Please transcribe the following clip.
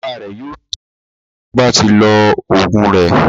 Bàbá rẹ̀ yóò tọ́ tí ó bá ti lo oògùn rẹ̀.